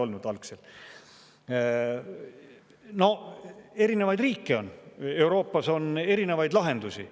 Noh, on erinevaid riike, Euroopas on erinevaid lahendusi.